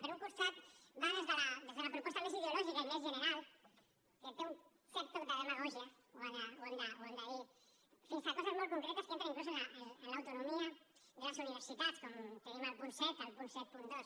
per un costat va des de la proposta més ideològica i més general que té un cert toc de demagògia ho hem de dir fins a coses molt concretes que entren inclús en l’autonomia de les universitat com tenim al punt set al punt setanta dos